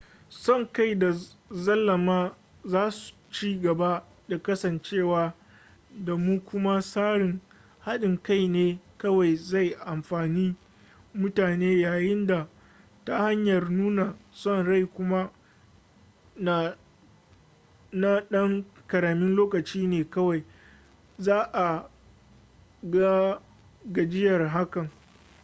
son kai da zalama za su ci gaba da kasancewa da mu kuma tsarin hadin kai ne kawai zai amfani mutane yayin da ta hanyar nuna son rai kuma na dan karamin lokaci ne kawai za a ga gajiyar hakan